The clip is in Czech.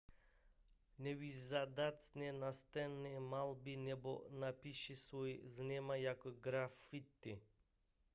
nevyžádané nástěnné malby nebo nápisy jsou známé jako graffiti